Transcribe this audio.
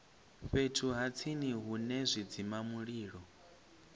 fhethu ha tsini hune zwidzimamulilo